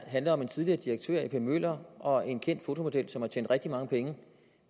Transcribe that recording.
handler om en tidligere direktør i a p møller og en kendt fotomodel som har tjent rigtig mange penge